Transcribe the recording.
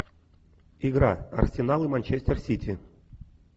игра арсенал и манчестер сити